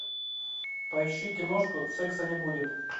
поищи киношку секса не будет